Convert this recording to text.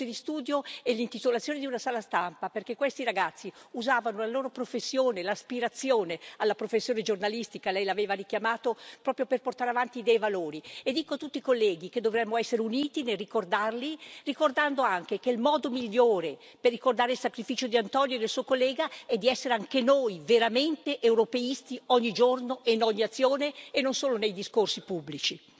Borse di studio e l'intitolazione di una sala stampa, perché questi ragazzi usavano la loro professione, l'aspirazione alla professione giornalistica, Lei l'aveva richiamato, proprio per portare avanti dei valori e dico a tutti i colleghi che dovremmo essere uniti nel ricordarli, ricordando anche che il modo migliore per ricordare il sacrificio di Antonio e del suo collega, è di essere anche noi veramente europeisti, ogni giorno e in ogni azione, e non solo nei discorsi pubblici.